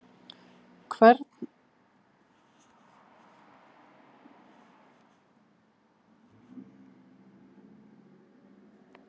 Stjáni stóð yfir þeim dágóða stund á meðan þeir ræddu tíðarfarið og stjórnmálaástandið.